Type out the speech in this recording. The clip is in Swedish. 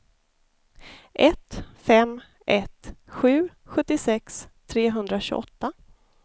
ett fem ett sju sjuttiosex trehundratjugoåtta